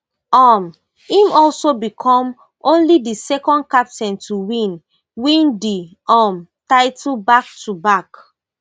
um im also become only di second captain to win win di um title backtoback